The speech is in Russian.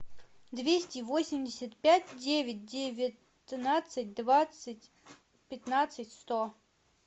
двести восемьдесят пять девять девятнадцать двадцать пятнадцать сто